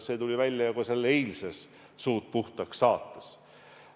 See tuli välja juba selles eilses "Suud puhtaks" saates.